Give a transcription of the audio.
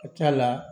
Ka ca la